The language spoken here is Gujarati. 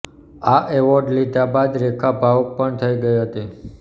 આ એવોર્ડ લીધા બાદ રેખા ભાવુક પણ થઈ ગઈ હતી